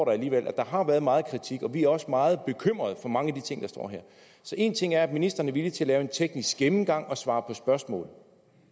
er alligevel at der har været meget kritik og vi er også meget bekymrede for mange af de ting der står her så en ting er at ministeren er villig til at lave en teknisk gennemgang og svare på spørgsmål